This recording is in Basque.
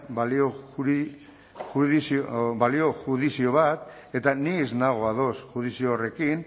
balioa judizio bat eta ni ez nago ados judizio horrekin